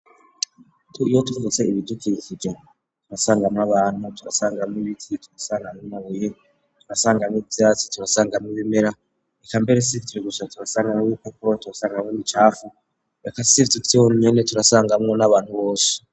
Tuiyo tuvutse ibidukikije turasangamwo abantu turasangamwo ibiti turasangananabuye turasangamwo ivyatsi turasangamwo ibimera ikambere si turigusha turasangamwo yuko kurwa turasangamwo nicafu beka siivdutyo nyene turasangamwo n'abantu boshi.